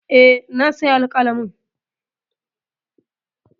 E, na sayi alƙalamin.